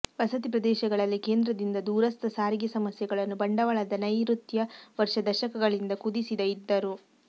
ವಸತಿ ಪ್ರದೇಶಗಳಲ್ಲಿ ಕೇಂದ್ರದಿಂದ ದೂರಸ್ಥ ಸಾರಿಗೆ ಸಮಸ್ಯೆಗಳನ್ನು ಬಂಡವಾಳದ ನೈಋತ್ಯ ವರ್ಷ ದಶಕಗಳಿಂದ ಕುದಿಸಿದ ಇದ್ದರು